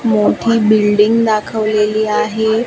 मोठी बिल्डिंग दाखवलेली आहे.